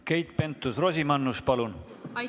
Keit Pentus-Rosimannus, palun!